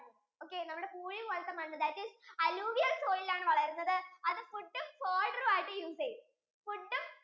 നമ്മുടെ പൂഴി പോലത്തെ മണ്ണ് that is alluvial soil ആണ് വളരുന്നത് അത് food ഉം fodder ആയിട്ടും use ചെയ്യും food ഉം